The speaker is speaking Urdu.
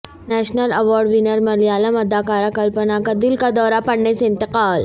نیشنل ایوارڈ ونر ملیالم اداکارہ کلپنا کا دل کا دورہ پڑنے سے انتقال